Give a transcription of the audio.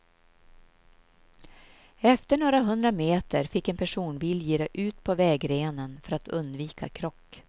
Efter några hundra meter fick en personbil gira ut på vägrenen för att undvika krock.